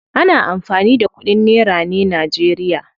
Ana amfani da kudin nera ne najeriya.